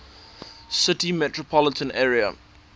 city metropolitan area